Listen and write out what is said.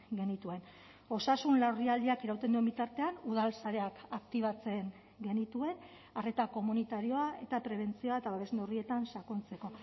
genituen osasun larrialdiak irauten duen bitartean udal sareak aktibatzen genituen arreta komunitarioa eta prebentzioa eta babes neurrietan sakontzeko